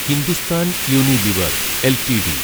Hindustan Unilever LTD